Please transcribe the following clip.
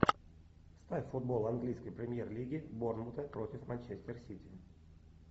ставь футбол английской премьер лиги борнмута против манчестер сити